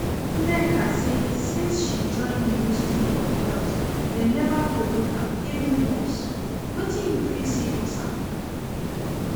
Nneka say since she join ministry of health dem never promote am even once, wetin you feel say cause am?